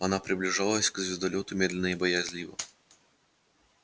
она приближалась к звездолёту медленно и боязливо